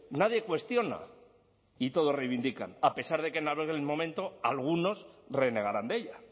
nadie cuestiona y todos reivindican a pesar de que en aquel momento algunos renegaran de ella